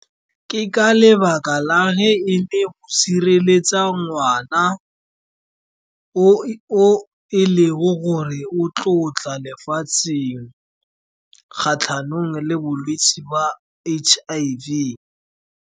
Ke ka lebaka la ge e le go sireletsa ngwana, o e leng gore o lefatsheng kgatlhanong le bolwetse ba H_I_V.